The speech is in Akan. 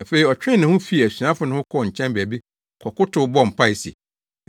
Afei ɔtwee ne ho fii asuafo no ho kɔɔ nkyɛn baabi kɔkotow, bɔɔ mpae se,